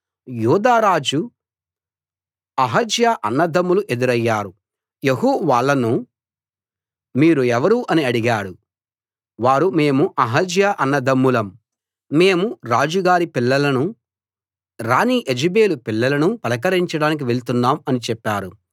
యూదా రాజు అహజ్యా అన్నదమ్ములు ఎదురయ్యారు యెహూ వాళ్ళను మీరు ఎవరు అని అడిగాడు వారు మేము అహజ్యా అన్నదమ్ములం మేము రాజు గారి పిల్లలనూ రాణి యెజెబెలు పిల్లలనూ పలకరించడానికి వెళ్తున్నాం అని చెప్పారు